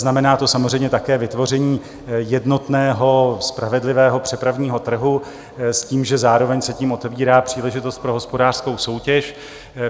Znamená to samozřejmě také vytvoření jednotného spravedlivého přepravního trhu s tím, že zároveň se tím otevírá příležitost pro hospodářskou soutěž.